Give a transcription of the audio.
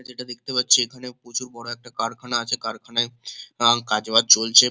যেটা দেখতে পাচ্ছি এখানে প্রচুর বড় একটা কারখানা আছে কারখানায় উম্ কাজবাজ চলছে।